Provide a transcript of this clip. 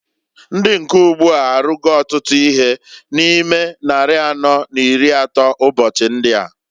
Ndi nke ugbu a arụgo ọtụtụ ihe na ime nnari anọọ n'iri n'atọ ụbọchị ndịa.